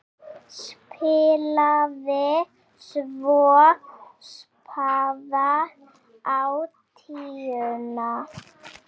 Spilaði svo spaða á tíuna!